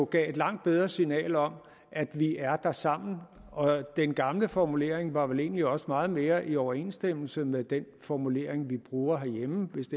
gav et langt bedre signal om at vi er der sammen og den gamle formulering var vel egentlig også meget mere i overensstemmelse med den formulering vi bruger herhjemme hvis